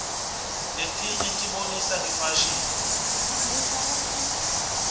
letinye tibonisa ngefasihni